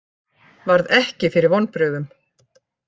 Varð ekki fyrir vonbrigðum